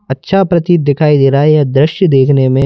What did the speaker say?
अच्छा प्रतीत दिखाई दे रहा है या दृश्य देखने में--